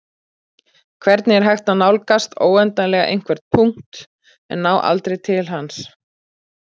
Hvernig er hægt að nálgast óendanlega einhvern punkt en ná aldrei til hans?